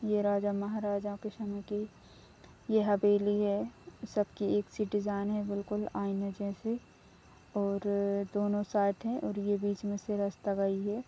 ये राजा-महाराजाओं के समय की ये हवेली है सब की एक सी डिजाईन है बिलकुल आईने जैसे और दोनों साथ हैं और ये बीच में से रस्ता गयी है।